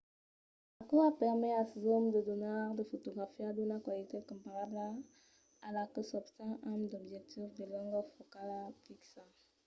aquò a permés als zooms de donar de fotografias d’una qualitat comparabla a la que s’obten amb d’objectius de longor focala fixa